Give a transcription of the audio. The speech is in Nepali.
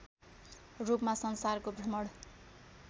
रूपमा संसारको भ्रमण